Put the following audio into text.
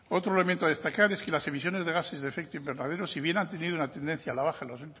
otro elemento a destacar es que las emisiones de gases de efecto invernadero si bien han tenido una tendencia a la baja en los